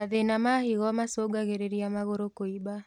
Mathĩna ma higo macũngagĩrĩrĩa magũrũ kũimba